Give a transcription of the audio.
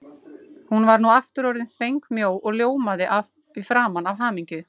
Hún var nú aftur orðin þvengmjó og ljómaði í framan af hamingju.